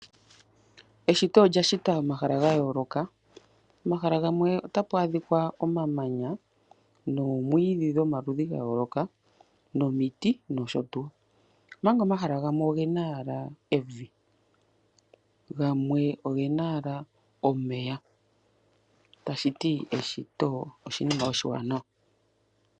Eshito olya shita omahala ga yooloka. Pomahala gamwe otapu adhika omamanya noomwiidhi dhomaludhi ga yooloka nomiti nosho tuu, omanga omahala gamwe oge na owala evi, gamwe oge na owala omeya. Eshito oshinima oshiwanawa.